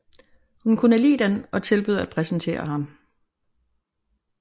Hun kunne lide den og tilbød at præsentere ham